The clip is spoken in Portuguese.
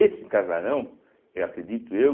Esse casarão, eu acredito eu,